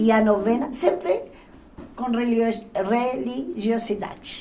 E a novena sempre com relio religiosidade.